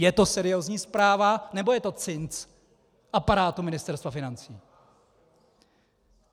Je to seriózní zpráva, nebo je to cinc aparátu Ministerstva financí?